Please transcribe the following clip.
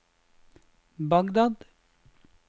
Bagdad